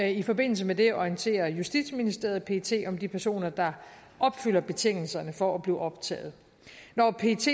i forbindelse med det orienterer justitsministeriet pet om de personer der opfylder betingelserne for at blive optaget når pets